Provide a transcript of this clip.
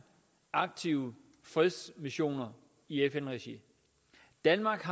aktive fredsmissioner i fn regi danmark